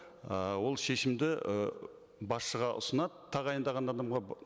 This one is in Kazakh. ы ол шешімді і басшыға ұсынады тағайындаған адамға